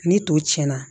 Ni to tiɲɛna